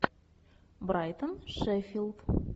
брайтон шеффилд